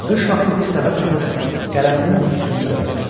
Boş vaxtı bir səbət tapıb qələminin üstünü də örtdü.